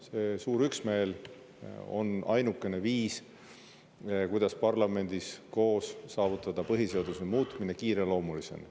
See suur üksmeel on ainukene viis, kuidas parlamendis saavutada põhiseaduse muutmine kiireloomulisena.